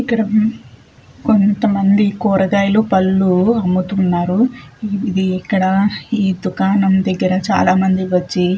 ఇక్కడ కొంతమంది కూరగాయలు పళ్ళు అమ్ముతున్నారు ఇది ఇక్కడ దుకాణం దగ్గర చాలామంది వచ్చి --